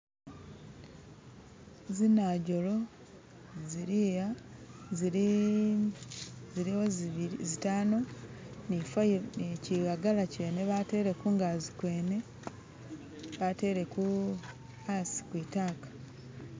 Zinajolo ziliaha zili ziliwo zitano ni zi fayilo nikihagala kyene batele kungazi kwene batele hasi kwitaka